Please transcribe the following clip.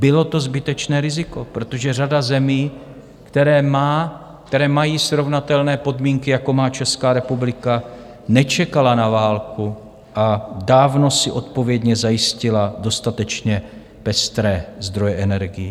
Bylo to zbytečné riziko, protože řada zemí, které mají srovnatelné podmínky, jako má Česká republika, nečekala na válku a dávno si odpovědně zajistila dostatečně pestré zdroje energií.